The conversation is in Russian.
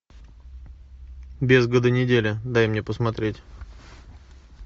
без году неделя дай мне посмотреть